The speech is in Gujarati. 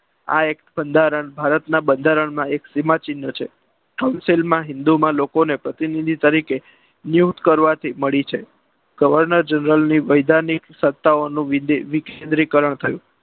આ act બંધારણ ભારતના બંધારણમાં એક સીમા ચિન્હ છે. સંસદમાં હિન્દુને પ્રતિનિધિ તરીકે નિયુક્ત કરવાથી મળી છે governor general ની વેદાંતિક સત્તાઓનું લીલીનીકરણ થયું.